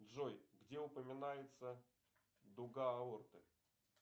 джой где упоминается дуга аорты